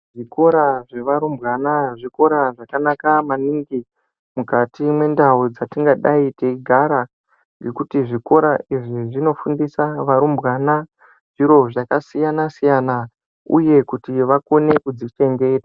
Zvikora zvevarumbwana zvikora zvakanaka maningi mukati mendau dzatinodai teigara ngekuti zvikora izvi zvinofundisa varumbwana zviro zvakasiyana siyana uye kuti vakone kuzvichengeta.